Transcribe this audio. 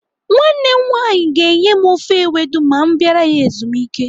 Nwanne m nwaanyị ga-enye m ofe ewedu ma m bịara ya ezumike.